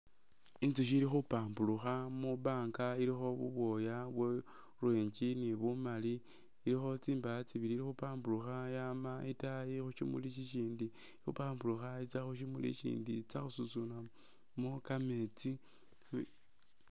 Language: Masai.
Inzushi ili khupamburukha mubanga ilikho bubwooya bwo orange ni bumali, ilikho tsimba'ah tsibili khepamburukha yama itaayi khu shimuli shishindi khepamburukha itsya khusimuli ishindi itsa khususunamo kameetsi